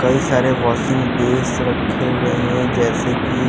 कई सारे washing base रखे हुए हैं जैसे की--